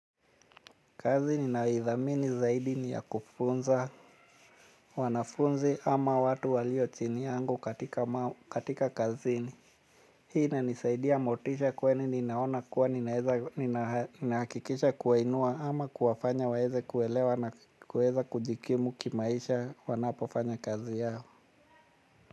Kazi ninaithamini zaidi ni ya kufunza, wanafunzi ama watu walio chini yangu katika kazini. Hii inanisaidia motisha kwenye ninaona kuwa ninahakikisha kuwainua ama kuwafanya waweze kuelewa na kuweza kujikimu kimaisha wanapofanya kazi yao.